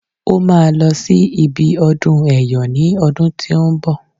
Ó máa lọ sí ibi ọdún ẹyọ ní ọdún tí ó ń bọ̀